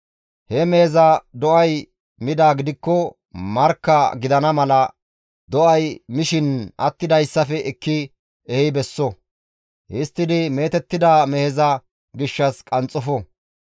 He meheza do7ay midaa gidikko, markka gidana mala do7ay mishin attidayssafe ekki ehi besso; histtidi meetettida meheza gishshas qanxxofo.